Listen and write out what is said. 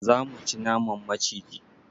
Za mu ci naman maciji.